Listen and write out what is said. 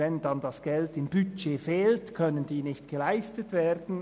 Wenn das Geld dafür im Budget fehlt, können diese nicht vorgenommen werden.